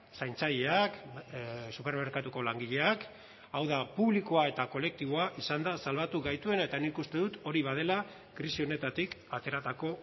zaintzaileak supermerkatuko langileak hau da publikoa eta kolektiboa izan da salbatu gaituena eta nik uste dut hori badela krisi honetatik ateratako